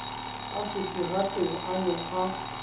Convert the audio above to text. a seterateng a ne a